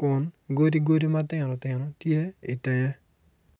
kun godi godi matino tino tye itenge